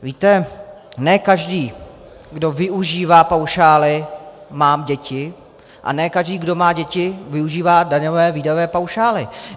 Víte, ne každý, kdo využívá paušály, má děti a ne každý, kdo má děti, využívá daňové výdajové paušály.